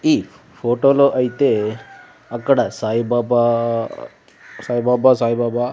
ఈ ఫోటోలో ఐతే అక్కడ సాయిబాబా సాయిబాబా సాయిబాబా--